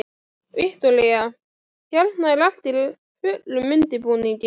Viktoría: Hérna er allt í fullum undirbúningi?